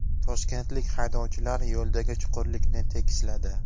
Toshkentlik haydovchilar yo‘ldagi chuqurlikni tekisladi .